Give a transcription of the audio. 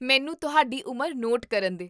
ਮੈਨੂੰ ਤੁਹਾਡੀ ਉਮਰ ਨੋਟ ਕਰਨ ਦੇ